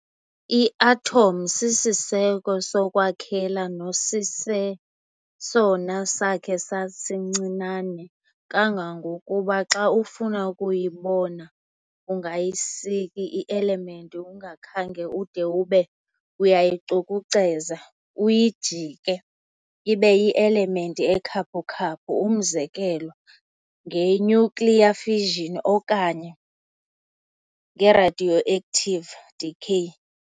I-atom sisiseko sokwakhela nesisesona sakhe sasincinane kangangokuba xa ufuna ukuyibona ungayisika i-element ungakhange ude ube uyayicukuceza, uyijike ibe yi-element ekhaphukhaphu, umzekelo ngenuclear fission okanye ngeradioactive decay.